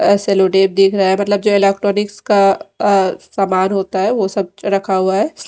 अ sellotape दिख रहा है मतलब जो इलेक्ट्रॉनिक्स का अ समान होता है वो सब रखा हुआ है।